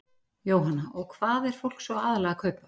Jóhanna: Og hvað er fólk svona aðallega að kaupa?